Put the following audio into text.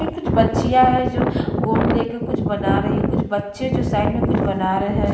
ये कुछ बच्चिया है जो गोंद लेकर कुछ बना रही है कुछ बच्चे जो साइड में कुछ बना रहे हैं ।